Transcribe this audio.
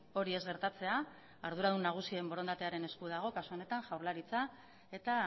hori ez gertatzea arduradun nagusien borondatearen esku dago kasu honetan jaurlaritza eta